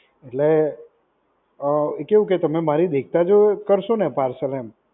એટલે અ કેવું કે તમે મારી દેખતા જ કરશો ને parcel? એમ.